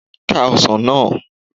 Ká èso náà